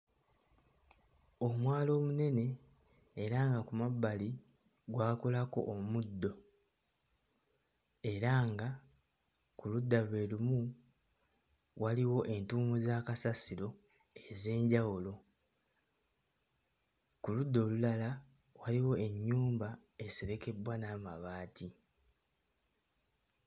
Omwala omunene era nga ku mabbali gwakulako omuddo era nga ku ludda lwe lumu waliwo entuumu za kasasiro ez'enjawulo. Ku ludda olulala waliwo ennyumba eserekebbwa n'amabaati.